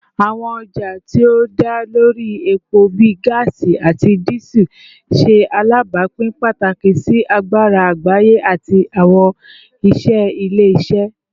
Awọn ọja ti o da lori epo bii gaasi ati Diesel ṣe alabapin pataki si agbara agbaye ati awọn iṣẹ ile-iṣẹ